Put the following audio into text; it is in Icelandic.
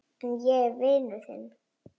En ég er vinur þinn.